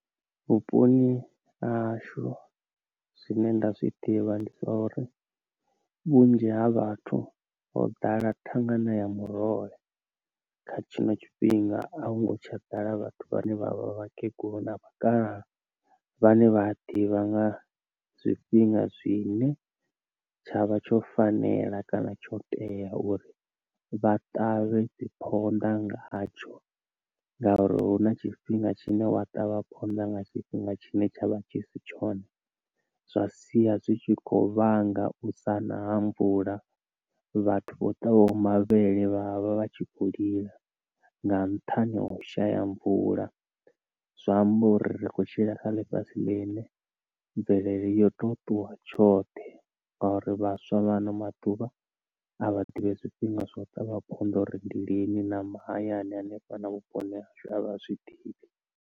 Vhuponi ha hashu zwine nda zwiḓivha ndi zwa uri vhunzhi ha vhathu ho ḓala thangana ya muroho kha tshiṅwe tshifhinga a hu ngo tsha ḓala vhathu vhane vha vha vha kegulu na vha kalaha vhane vha ḓivha nga zwifhinga zwine tshavha tsho fanela kana tsho tea uri vha ṱavhe dzi phonḓa ngaha tsho ngauri hu na tshifhinga tshine wa ṱavha phonḓa nga tshifhinga tshine tshavha tshi si tshone zwa sia zwitshi kho vhanga u sana ha mvula, vhathu vho ṱavhaho mavhele vhavha vhatshi kho lila nga nṱhani ha u shaya mvula zwa amba uri ri kho tshila kha ḽifhasi fhasi ḽine mvelele yo to ṱuwa tshoṱhe ngauri vhaswa vha ano maḓuvha a vha ḓivhi zwifhinga zwa u ṱavha phonḓa uri ndi lini na mahayani hanefha vhuponi hashu avha zwiḓivhi.